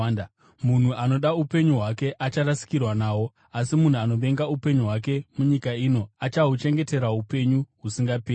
Munhu anoda upenyu hwake acharasikirwa nahwo, asi munhu anovenga upenyu hwake munyika ino achahuchengetera upenyu husingaperi.